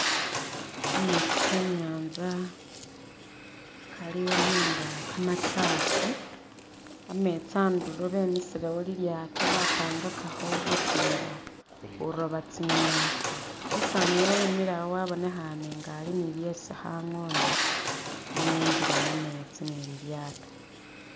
Kametsi ke'nyanza kaliwo nenga kamachafu, ametsi a'ndulo bemisilewo lilyaato bapangakakho butimba buroba tsi'ngeni, umusaani uyo wemile awo wabonekhane nga ali ni byesi khangoona ne e'ngile mumetsi ni lilyaato